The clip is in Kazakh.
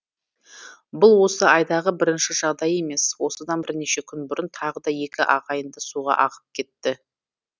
бұл осы айдағы бірінші жағдай емес осыдан бірнеше күн бұрын тағы да екі ағайынды суға ағып кетті